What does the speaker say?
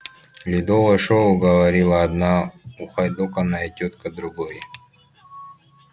ледовое шоу говорила одна ухайдоканная тётка другой